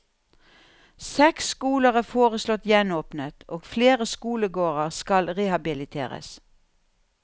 Seks skoler er foreslått gjenåpnet og flere skolegårder skal rehabiliteres.